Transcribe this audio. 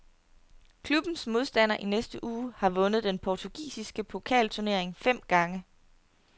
Klubbens modstander i næste uge har vundet den portugisiske pokalturnering fem gange.